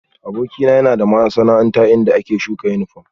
Abokina yana da masana'anta inda ake shuka yunifom